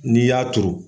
N'i y'a turu